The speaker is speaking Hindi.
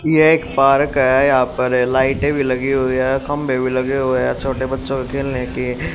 एक पार्क है यहां पर लाइटें भी लगी हुई है खंभे भी लगे हुए हैं छोटे बच्चों के खेलने कि--